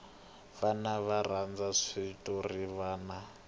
vana va rhandza switorana